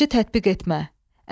Yaradıcı tətbiq etmə.